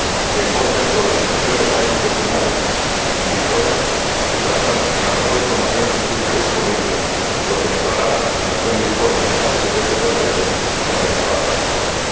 que informen sobre las emisiones ILUC estimadas, indicadores que se basan en la mejor información científica disponible, lo que mejorará la presentación de informes sobre gases de efecto invernadero y aumentará la transparencia.